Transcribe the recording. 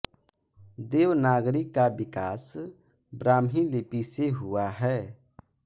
देवनागरी का विकास ब्राह्मी लिपि से हुआ है